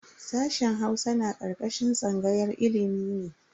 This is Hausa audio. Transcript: Sashen Hausa na karkashin tsangayar ilimi ne.